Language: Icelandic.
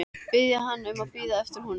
Biðja hana um að bíða eftir honum.